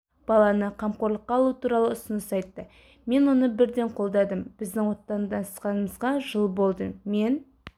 баланы қамқорлыққа алу туралы ұсыныс айтты мен оны бірден қолдадым біздің отасқанымызға жыл болды мен